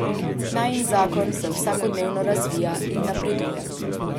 Najin zakon se vsakodnevno razvija in napreduje.